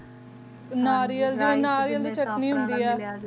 ਨਾਰਿਯਲ ਨਾਰਿਯਲ ਦੀ ਚਟਨੀ ਹੋਣ ਦੀ ਅ